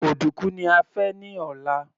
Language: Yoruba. Òdúkú ni a fẹ ní ọ̀la